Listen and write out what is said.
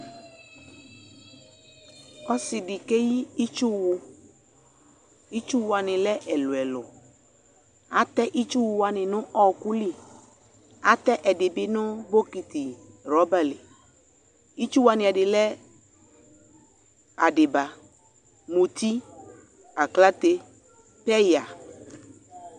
Ɔse de ke yi itsuwu Itsuwu wane lɛ ɛluɛluAtɛ itsuwu wane no ɔku liAte ɛde be no bokiti rɔba liItsuwu wane ɛde lɛ adiba, muti, aklate, peya